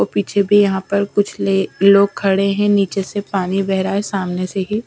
पीछे भी यहाँ पर कुछ ले लोग खड़े हैं नीचे से पानी बह रहा हैं सामने से ही--